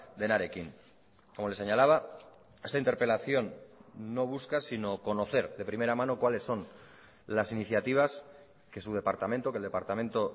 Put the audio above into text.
denarekin como le señalaba esta interpelación no busca sino conocer de primera mano cuáles son las iniciativas que su departamento que el departamento